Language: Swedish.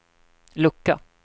lucka